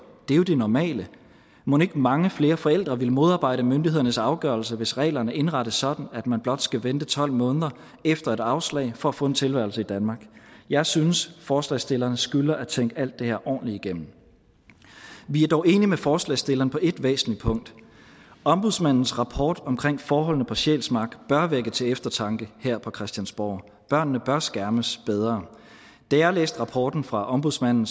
det er jo det normale mon ikke mange flere forældre ville modarbejde myndighedernes afgørelse hvis reglerne indrettes sådan at man blot skal vente tolv måneder efter et afslag for at få en tilværelse i danmark jeg synes forslagsstillerne skylder at tænke alt det her ordentligt igennem vi er dog enige med forslagsstillerne på et væsentligt punkt ombudsmandens rapport omkring forholdene på sjælsmark bør vække til eftertanke her på christiansborg børnene bør skærmes bedre da jeg læste rapporten fra ombudsmanden